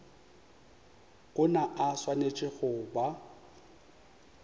ona a swanetše go ba